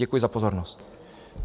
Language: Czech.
Děkuji za pozornost.